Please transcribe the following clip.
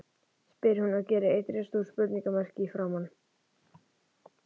spyr hún og er eitt risastórt spurningamerki í framan.